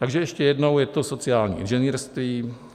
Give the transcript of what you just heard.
Takže ještě jednou, je to sociální inženýrství.